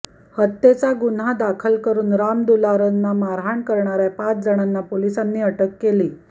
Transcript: हत्येचा गुन्हा दाखल करून रामदुलारना मारहाण करणाऱ्या पाच जणांना पोलिसांनी अटक केली